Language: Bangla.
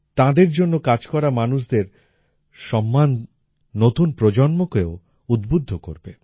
তাঁদের জন্য কাজ করা মানুষদের সম্মান নতুন প্রজন্মকেও উদ্বুদ্ধ করবে